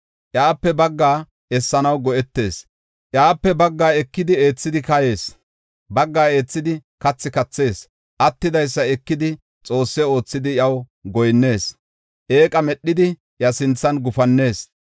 Iyape baggaa eethanaw go7etees; iyape baggaa ekidi, eethidi kayees; baggaa eethidi kathi kathees. Attidaysa ekidi xoosse oothidi iyaw goyinnees; eeqa medhidi iya sinthan gufannees.